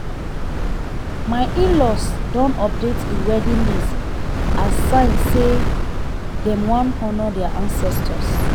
my inlaws don update the wedding list as sign say dem wan honour their ancestors